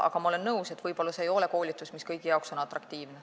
Aga ma olen nõus, et võib-olla see koolitus ei ole kõigi jaoks atraktiivne.